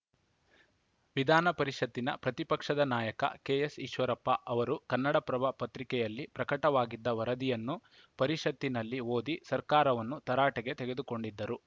ವಿಧಾನಪರಿಷತ್ತಿನ ಪ್ರತಿಪಕ್ಷದ ನಾಯಕ ಕೆಎಸ್‌ ಈಶ್ವರಪ್ಪ ಅವರು ಕನ್ನಡಪ್ರಭ ಪತ್ರಿಕೆಯಲ್ಲಿ ಪ್ರಕಟವಾಗಿದ್ದ ವರದಿಯನ್ನು ಪರಿಷತ್ತಿನಲ್ಲಿ ಓದಿ ಸರ್ಕಾರವನ್ನು ತರಾಟೆಗೆ ತೆಗೆದುಕೊಂಡಿದ್ದರು